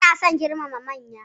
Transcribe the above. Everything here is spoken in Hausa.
Ana son girmama manya.